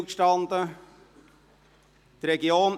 Die Zeit stand nicht still;